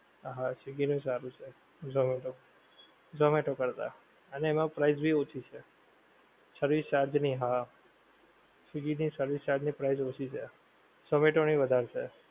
હા સ્વીગી નું સારું છે, ઝોમેટો, ઝોમેટો કરતાં. અને એમાં price ભી ઓછી છે. service charge ની હા સ્વીગી ની service charge ની price ઓછી છે. ઝોમેટો ની વધારે છે.